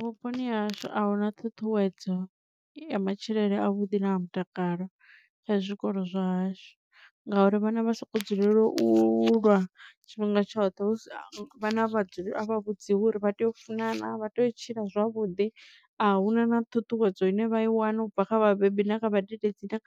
Vhuponi ha hashu ahuna ṱhuṱhuwedzo ya matshilele a vhuḓi na a mutakalo kha zwikolo zwahashu ngauri vhana vha soko dzulela u lwa tshifhinga tshoṱhe vhana a vha vhudziwa uri vha tea u funana vha tea u tshila zwavhuḓi. Ahuna na ṱhuṱhuwedzo ine vha i wana ubva kha vhabebi na kha vhadededzi na